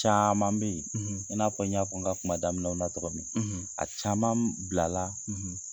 Caaman be ye i n'a fɔ n y'a fɔ n ka kuma daminɛw na cogo min, a caman m bilala